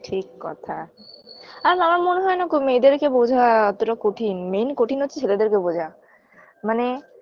ঠিক কথা আর আমার মনে হয় না মেয়েদেরকে বোঝা অতটা কঠিন main কঠিন হচ্ছে ছেলেদেরকে বোঝা মানে